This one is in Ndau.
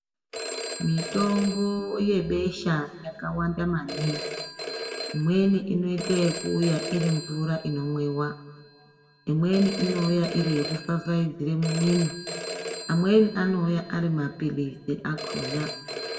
Mitombo yebesha yakawanda maningi. Imweni inoita ekuuya iri mvura inomwiwa, imweni inouya iri yekufafaidzire mumiro, amweni anouya ari maphilizi akhona.